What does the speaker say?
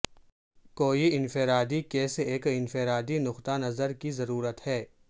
کوئی انفرادی کیس ایک انفرادی نقطہ نظر کی ضرورت ہے